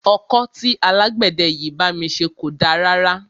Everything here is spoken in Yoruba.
Ọkọ́ tí alágbẹ̀dẹ yìí bá mi ṣe kò da rárá.